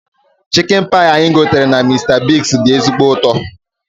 Chikin pai anyị gotere na Mista Bigz dị ezigbo ụtọ